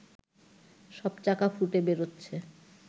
সব চাকা ফুটে বেরোচ্ছে